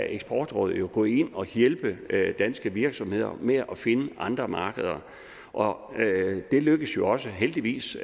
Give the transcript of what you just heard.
eksportrådet jo gå ind og hjælpe danske virksomheder med at finde andre markeder og det lykkes jo også heldigvis